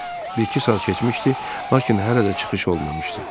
Bir-iki saat keçmişdi, lakin hələ də çıxış olmamışdı.